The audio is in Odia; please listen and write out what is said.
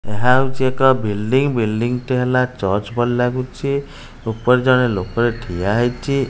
ଏହା ହେଉଛି ଏକ ବିଲଡିଂ ବିଲଡିଂ ଟି ହେଲା ଚର୍ଚ୍ଚ ପରି ଲାଗୁଛି ଉପରେ ଜଣେ ଲୋକ ଠିଆ ହୋଇଛି।